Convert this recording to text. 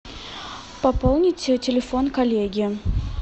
пополнить телефон коллеги